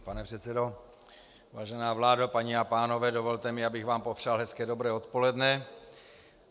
Pane předsedo, vážená vládo, paní a pánové, dovolte mi, abych vám popřál hezké dobré odpoledne.